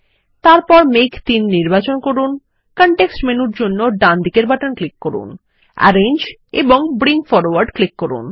তারপর মেঘ ৩ নির্বাচন করুন কনটেক্সট মেনুর জন্য ডানদিকের বাটন ক্লিক করুন আরেঞ্জ এবং ব্রিং ফরওয়ার্ড ক্লিক করুন